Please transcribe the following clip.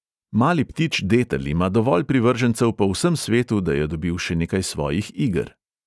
Mali ptič detel ima dovolj privržencev po vsem svetu, da je dobil še nekaj svojih iger.